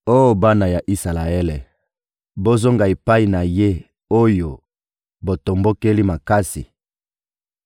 Oh bana ya Isalaele, bozonga epai na Ye oyo botombokeli makasi!